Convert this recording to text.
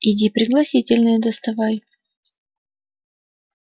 иди пригласительные доставай